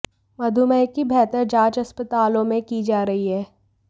मधुमेह की बेहतर जांच अस्पतालों में की जा रही है